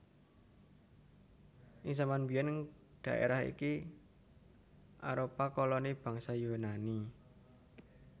Ing zaman biyèn dhaérah iki arupa koloni bangsa Yunani